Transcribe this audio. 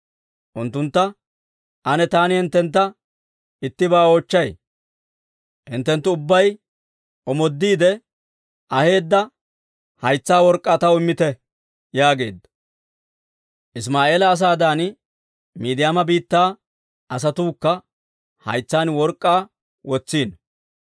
Unttuntta, «Ane taani hinttentta ittibaa oochchay: hinttenttu ubbay omoodiide aheedda haytsa work'k'aa taw immite» yaageedda. Isimaa'eela asaadan, Miidiyaama biittaa asatuukka haytsaan work'k'aa wotsiino.